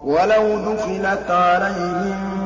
وَلَوْ دُخِلَتْ عَلَيْهِم